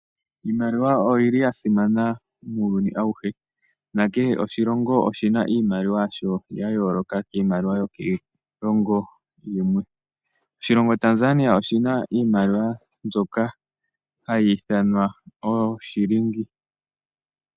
Iimaliwa oya simana muuyuni auhe. Nakehe oshilongo oshi na iimaliwa yasho, ya yooloka kiimaliwa yokiilongo yimwe. Oshilongo Tanzania oshi na iimaliwa mbyoka hayi ithanwa ooshilingi.